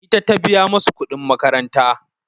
Ita ta biya musu kuɗin makaranta.